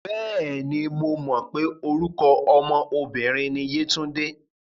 Bẹ́ẹ̀ni, mo mọ̀ pé orúkọ ọmọ obìnrin ni Yétúndé.